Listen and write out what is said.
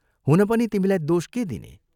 हुन पनि तिमीलाई दोष के दिने?